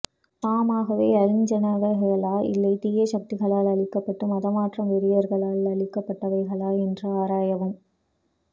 தாமாகவே அழிஞ்சனவைகளா இல்லே தீச சகதிகளால் அளிக்கப்பட்டு மதமாற்றம் வெறியர்களால் அளிக்கப்பட்டவைகள்ல என்றும் ஆராயவும்